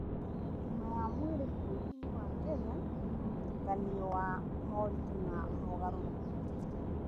Ũgima wa mwĩrĩ bũrũri-inĩ wa Kenya nĩ mũtukanio wa moritũ na mogarũrũku.